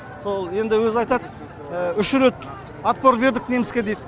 сол енді өзі айтады үш рет отпор бердік неміске дейді